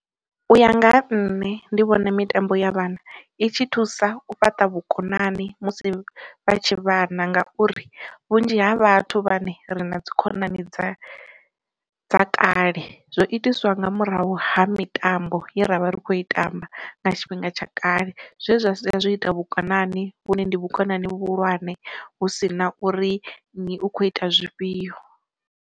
U ya nga ha nṋe ndi vhona mitambo ya vhana i tshi thusa u fhaṱa vhukonani musi vha tshi vhana ngauri, vhunzhi ha vhathu vhane ri na dzikhonani dza dza kale, zwo itiswa nga murahu ha mitambo ye ravha ri kho i tamba nga tshifhinga tsha kale zwezwi zwa saia zwo ita vhukonani vhune ndi vhukonani vhuhulwane hu si na uri nnyi u kho ita zwifhio.